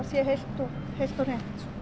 sé heilt og heilt og hreint